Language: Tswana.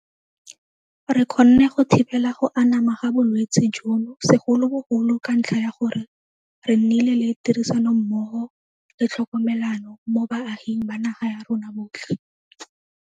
Re kgonne go thibela go anama ga bolwetse jono segolobogolo ka ntlha ya gore re nnile le tirisanommogo le tlhokomelano mo baaging ba naga ya rona botlhe.